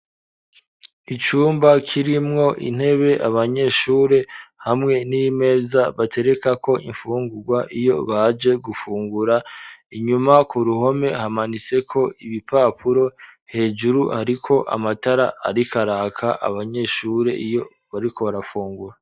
Icumba kirimwo intebe abanyeshuri hamwe n'imeza batereka ko imfungurwa iyo baje gufungura inyuma ku ruhome hamanitseko ibipapuro, hejuru hariko amatara ariko araka abanyeshure iyo bariko barafungura.